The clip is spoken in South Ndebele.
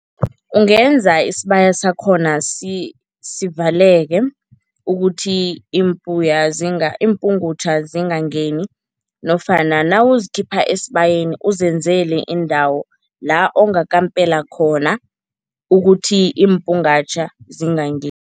Ungenza isibaya sakhona sivaleleke ukuthi iimpungutjha zingangeni nofana nawuzikhipha esibayeni uzenzele indawo la ongakampela khona ukuthi iimpungatjha zingangeni.